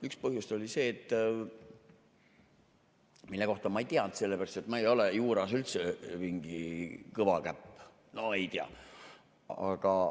Üks põhjus oli see, mille kohta ma ei teadnud, sellepärast et ma ei ole juuras üldse mingi kõva käpp – no ei tea.